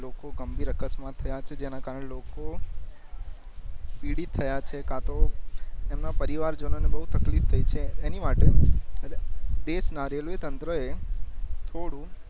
લોકો ગંભીર અકસ્માત થયા છે જેના કારણે લોકો પીડિત થયા છે કતો એમાં પરિવાર જનોન બવ તકલીફ થઈ છે એની માટે દેશ ના રેલ્વે તંત્રો એ થોડું